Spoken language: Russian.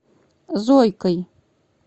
зойкой